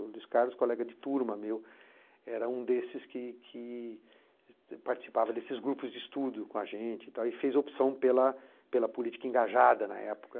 O Luís Carlos, colega de turma meu, era um desses que que que que participava desses grupos de estudo com a gente e tal e fez opção pela pela política engajada na época.